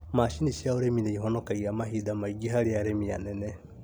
Macini cia ũrĩmi nĩihonokagaia mahinda maingĩ harĩ arĩmi anene